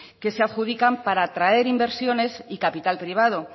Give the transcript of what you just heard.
que se adjudican para atraer inversiones y capital privado